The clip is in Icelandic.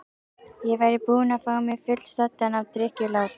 Ég væri búinn að fá mig fullsaddan af drykkjulátum.